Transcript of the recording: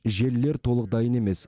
желілер толық дайын емес